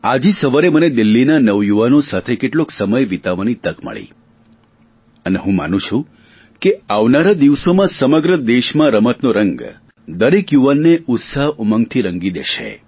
આજે સવારે મને દિલ્લીના નવયુવાનો સાથે કેટલોક સમય વિતાવવાની તક મળી અને હું માનું છુ કે આવનારા દિવસોમાં સમગ્ર દેશમાં રમતનો રંગ દરેક યુવાનને ઉત્સાહઉમંગથી રંગી દેશે